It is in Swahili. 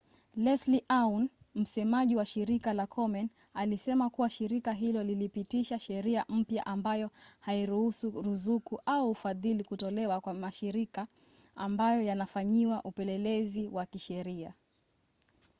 leslie aun msemaji wa shirika la komen alisema kuwa shirika hilo lilipitisha sheria mpya ambayo hairuhusu ruzuku au ufadhili kutolewa kwa mashirika ambayo yanafanyiwa upelelezi wa kisheria